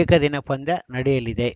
ಏಕದಿನ ಪಂದ್ಯ ನಡೆಯಲಿದೆ